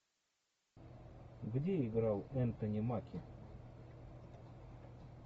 где играл энтони маки